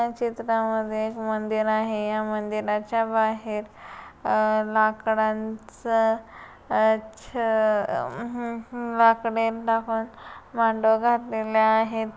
ह्या चित्रा मध्ये एक मंदिर आहे या मंदिराच्या बाहेर अ लाकडांच अ छ अम्ह लाकडे टाकून मांडव घातलेले आहेत.